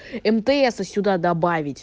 мтс сюда добавить